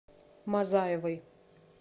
мазаевой